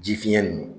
Ji fiɲɛ ninnu